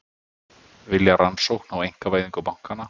Vilja rannsókn á einkavæðingu bankanna